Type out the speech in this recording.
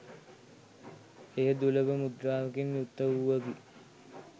එය දුලබ මුද්‍රාවකින් යුක්ත වූවකි.